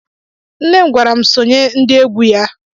Nne m gwaram sonye ndị égwu ya.